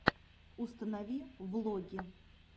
установи влоги